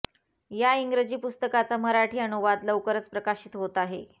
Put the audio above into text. या इंग्रजी पुस्तकाचा मराठी अनुवाद लवकरच प्रकाशित होत आहे